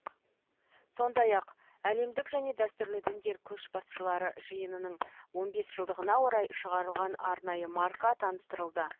сондай ақ әлемдік және дәстүрлі діндер көшбасшылары жиынының он бес жылдығына орай шығарылған арнайы марка таныстырылды